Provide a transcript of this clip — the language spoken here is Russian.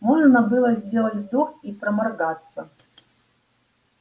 можно было сделать вдох и проморгаться